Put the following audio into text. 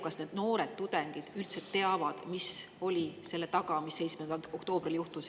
Kas need noored tudengid üldse teavad, mis oli selle taga, mis 7. oktoobril juhtus?